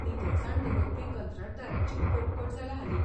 नितळसाण दवरपी कंत्राटदारांची कटकट जाल्या हालीं.